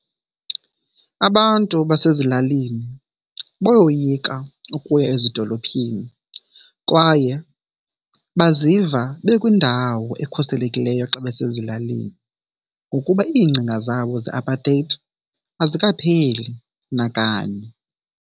Abantu basezilalini bayoyika ukuya ezidolophini kwaye baziva bekwindawo ekhuselekileyo xa basezilalini, ngokuba iingcinga zabo ze-apartheid azikapheli nakanye.